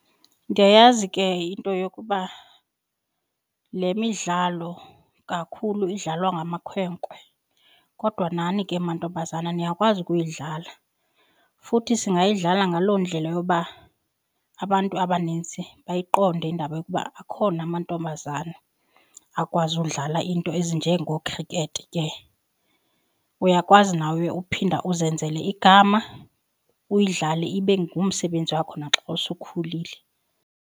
Ndiyayazi ke into yokuba le midlalo kakhulu idlalwa ngamakhwenkwe kodwa nani ke mantombazana niyakwazi ukuyidlala futhi singayidlala ngaloo ndlela yoba abantu abanintsi bayiqonde indaba yokuba akhona amantombazana akwazi udlala iinto ezinjengoo-cricket ke. Uyakwazi nawe uphinda uzenzele igama uyidlale ibe ngumsebenzi wakho naxa usowukhulile.